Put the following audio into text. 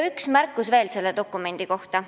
Üks märkus veel selle dokumendi kohta.